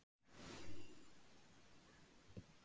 Höskuldur: Gengur ekkert að ryðja veginn?